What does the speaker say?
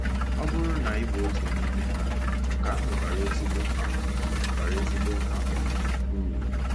Ọ bụrụ na ị bụ otu n’ime ha, nke ahụ bara ezigbo um bara ezigbo um uru.